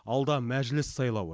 алда мәжіліс сайлауы